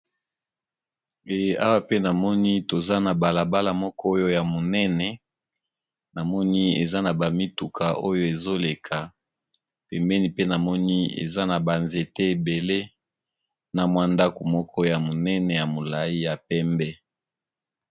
Awa pe namoni toza na balabala moko oyo ya monene, namoni eza na bamituka oyo ezoleka, pembeni pe namoni eza na banzete ebele na mwandako moko ya monene ya molai ya pembe.